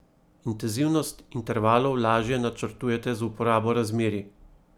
Intenzivnost intervalov lažje načrtujete z uporabo razmerij.